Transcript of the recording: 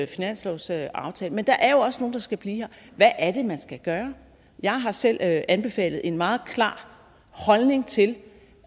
finanslovsaftale men der er jo også nogle der skal blive her hvad er det man skal gøre jeg har selv anbefalet en meget klar holdning til